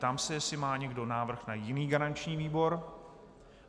Ptám se, jestli má někdo návrh na jiný garanční výbor.